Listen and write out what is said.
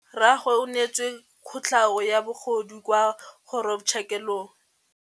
Rragwe o neetswe kotlhaô ya bogodu kwa kgoro tshêkêlông.